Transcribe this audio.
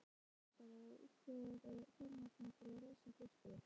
Miklagarðskeisari útvegaði fjármagnið til að reisa klaustrið